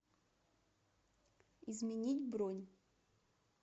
изменить бронь